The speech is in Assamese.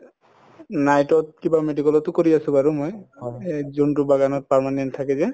night কিবা medical তো কৰি আছো বাৰু মই এহ যোনটো বাগানত permanent থাকে যে